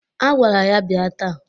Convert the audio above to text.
A gwara ya bịa taa.